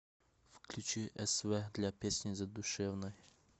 включи св для песни задушевной